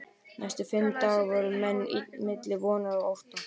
Næstu fimm daga voru menn milli vonar og ótta.